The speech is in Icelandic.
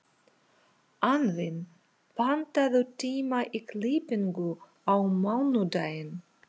Anfinn, pantaðu tíma í klippingu á mánudaginn.